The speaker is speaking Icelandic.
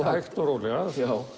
hægt og rólega